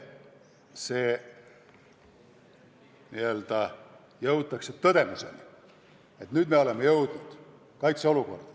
Lihtsalt jõutakse tõdemuseni, et nüüd me oleme jõudnud kaitseolukorda.